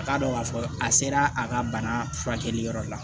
A k'a dɔn k'a fɔ a sera a ka bana furakɛli yɔrɔ la